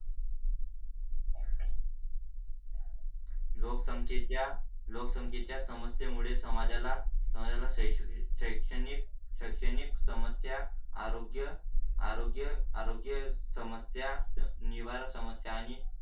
लोकसंख्येच्या लोकसंख्येच्या समस्ये मुळे समाजाला समाजाला शिक्षणिक शैक्षणिक समस्या, आरोग्य, आरोग्य, आरोग्य, समस्या निवारण, समस्या आणि